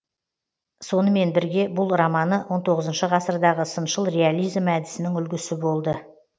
сонымен бірге бұл романы он тоғызыншы ғасырдағы сыншыл реализм әдісінің үлгісі болды